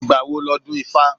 Ìgbà wo ni ọdún ifá?